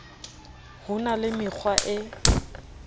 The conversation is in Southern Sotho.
ho na le mekgwa e